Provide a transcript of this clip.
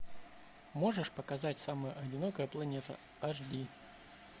можешь показать самая одинокая планета аш ди